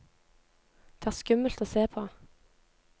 Det er skummelt å se på.